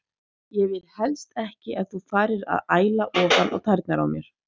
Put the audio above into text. Ég vil helst ekki að þú farir að æla ofan á tærnar á mér.